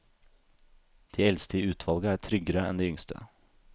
De eldste i utvalget er tryggere enn de yngste.